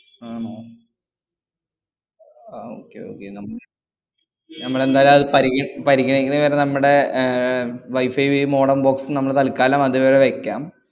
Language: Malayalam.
ആണോ ആ okay okay നമ്മള് നമ്മളെന്തായാല്‍ പരിഗ~ പരിഗണിക്കുന്നവരെ നമ്മടെ ഏർ wifi വിയും modem box ഉം നമ്മള് തല്ക്കാലം അതിവിടെ വെക്കാം.